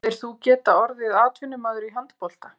Hefðir þú getað orðið atvinnumaður í handbolta?